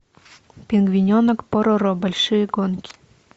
пингвиненок пороро большие гонки